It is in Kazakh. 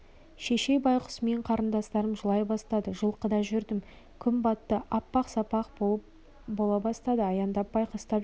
шешей байғұс пен қарындастарым жылай бастады жылқыда жүрдім күн батты апақ-сапақ бола бастады аяңдап байқастап жүрмін